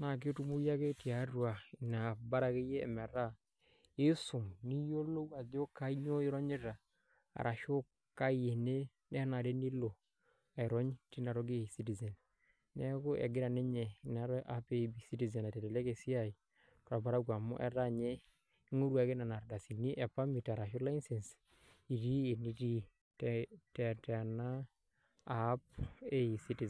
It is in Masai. naa ketumoyu ake tina app bora akeyie piisum niyiolou ajo kainyioo ironyita ashu kaai ene nenare pee ilo airony tina toki e eCitizen neeku egira ninye ina app e eCitizen aitelelek esiai torparakuo amu ing'oru ake nena ardasini arashu license itii enitii tena app e eCitizen.